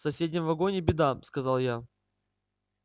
в соседнем вагоне беда сказал я